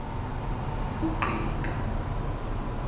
ungqika